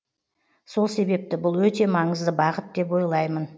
сол себепті бұл өте маңызды бағыт деп ойлаймын